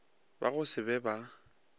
ba go se be ba